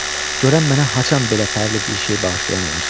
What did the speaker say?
Görən mənə haçan belə fərli bir şey bağışlayan olacaq.